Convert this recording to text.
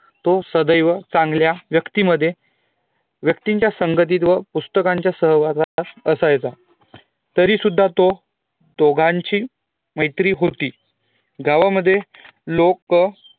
तो सदैव चांगल्या व्यक्तीमध्ये व्यक्तीच्या संगतीत व पुस्तकांच्या सहवासात असायचा तरी सुध्दा तो दोघांची मैत्री होती गावा मद्ये लोकं